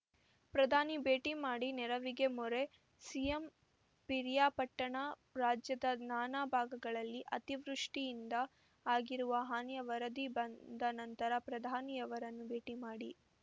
ಪ್ರಧಾನಿ ಭೇಟಿ ಮಾಡಿ ನೆರವಿಗೆ ಮೊರೆ ಸಿಎಂ ಪಿರಿಯಾಪಟ್ಟಣ ರಾಜ್ಯದ ನಾನಾ ಭಾಗಗಳಲ್ಲಿ ಅತಿವೃಷ್ಟಿಯಿಂದ ಆಗಿರುವ ಹಾನಿಯ ವರದಿ ಬಂದ ನಂತರ ಪ್ರಧಾನಿಯವರನ್ನು ಭೇಟಿ ಮಾಡಿ